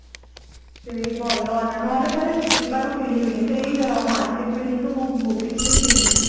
ହଁ ସେଇ ଭଲ ଅଣା ନହେଲେ ତାହେଲେ ବିବାରୁ କିଣିବିନି ଏଇ market building ରୁ କୋଉ boutique ରୁ ହିଁ କିଣିଦେବି